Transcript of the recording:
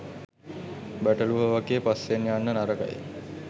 බැටළුවෝ වගේ පස්සෙන් යන්න නරකයි.